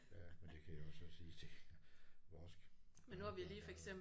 Ja men det kan jeg også så sige det vores barnebarn der har